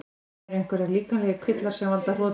Eru einhverjir líkamlegir kvillar sem valda hrotum?